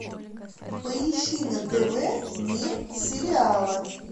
поищи на тв мир сериала